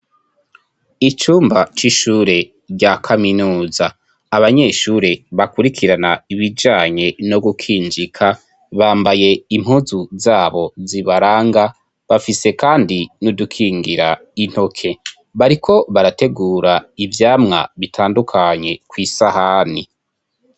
Icumba c'ishure rya kaminuza, abanyeshure bakurikirana ibijanye no gukinjika, bambaye impuzu zabo zibaranga, bafise kandi nudukingira intoke. Bariko barategura ivyamwa bitandukanye kw'isahani.